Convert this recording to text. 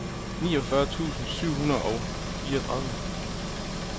niogfyrre tusind syv hundrede og fireogtredive